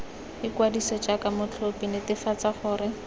ikwadise jaaka motlhophi netefatsa gore